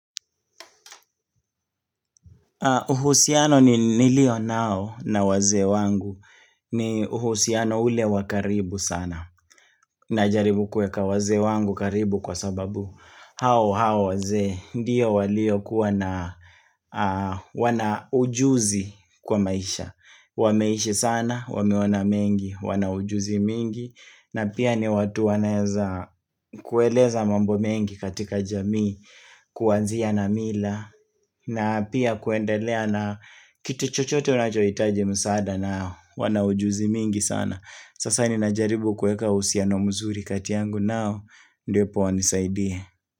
Uhusiano nilio nao na wazee wangu ni uhusiano ule wakaribu sana na jaribu kuweka wazee wangu karibu kwa sababu hao hao wazee ndiyo walio kuwa na wana ujuzi kwa maisha Wameishi sana, wameona mengi, wanaujuzi mingi na pia ni watu wanaweza kueleza mambo mengi katika jamii Kuanzia na mila na pia kuendelea na kitu chochote unachohitaji msaada nao Wanaujuzi mingi sana Sasa ni najaribu kuweka uhusiano mzuri katia yangu nao ndipo wanisaidie.